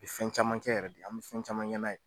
Bi fɛn caman kɛ yɛrɛ de, an bi fɛn caman kɛ n'a ye